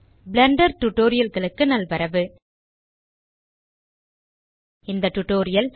Blender Tutorialகளுக்கு நல்வரவு இந்த டியூட்டோரியல்